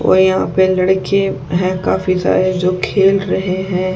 और यहाँ पे लड़के हैं काफी सारे जो खेल रहे हैं।